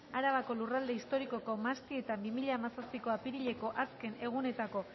arabako lurralde historikoko mahastietan bi mila hamazazpiko apirileko azken egunetako